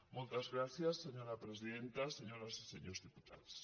moltes gràcies senyora presidenta senyores i senyors diputats